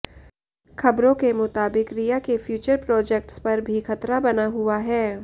ख़बरों के मुताबिक रिया के फ्यूचर प्रोजेक्ट्स पर भी खतरा बना हुआ है